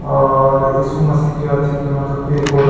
और येशु मसीह के अथि के मतलब पेड़ पौधा --